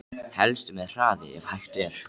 Helst með hraði, ef hægt er.